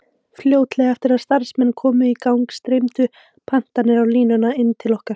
Fljótlega eftir að starfsemin komst í gang streymdu pantanir á línum inn til okkar.